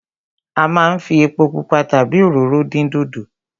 A máa ń fi epo pupa tàbí òróró dín dòdò.